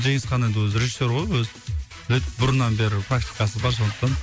жеңісхан енді өзі режиссер ғой өзі біледі бұрыннан бері практикасы бар сондықтан